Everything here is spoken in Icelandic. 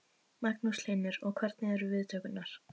Magnús Hlynur: Og hvernig eru viðtökurnar?